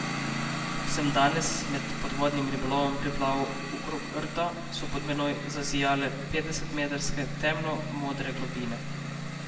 Ko sem danes med podvodnim ribolovom priplaval okrog rta, so pod menoj zazijale petdesetmetrske temno modre globine.